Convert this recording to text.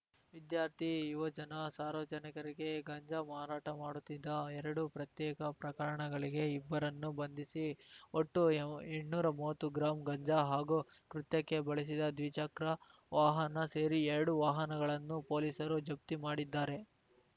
ವಿದ್ಯಾರ್ಥಿ ಯುವಜನ ಸಾರ್ವಜನಿಕರಿಗೆ ಗಾಂಜಾ ಮಾರಾಟ ಮಾಡುತ್ತಿದ್ದ ಎರಡು ಪ್ರತ್ಯೇಕ ಪ್ರಕರಣಗಳಿಗೆ ಇಬ್ಬರನ್ನು ಬಂಧಿಸಿ ಒಟ್ಟು ಎಂಟ್ನೂರಾ ಮೂವತ್ತು ಗ್ರಾಂ ಗಾಂಜಾ ಹಾಗೂ ಕೃತ್ಯಕ್ಕೆ ಬಳಸಿದ್ದ ದ್ವಿಚಕ್ರ ವಾಹನ ಸೇರಿ ಎರಡು ವಾಹನಗಳನ್ನು ಪೊಲೀಸರು ಜಪ್ತಿ ಮಾಡಿದ್ದಾರೆ